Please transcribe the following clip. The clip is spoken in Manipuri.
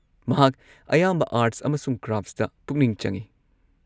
ꯃꯍꯥꯛ ꯑꯌꯥꯝꯕ ꯑꯥꯔꯠꯁ ꯑꯃꯁꯨꯡ ꯀ꯭ꯔꯥꯐꯠꯁꯇ ꯄꯨꯛꯅꯤꯡ ꯆꯪꯉꯤ꯫